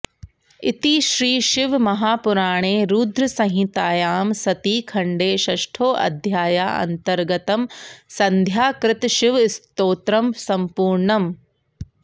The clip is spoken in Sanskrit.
इति श्रीशिवमहापुराणे रुद्रसंहितायां सती खण्डे षष्ठोऽध्यायान्तर्गतं सन्ध्याकृतशिवस्तोत्रं सम्पूर्णम्